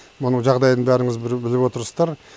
мұның жағдайын бәріңіз біліп отырсыздар